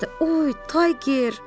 Oy, Tayger!